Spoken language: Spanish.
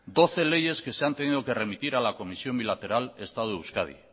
doce leyes que se han tenido que remitir a la comisión bilateral estado euskadi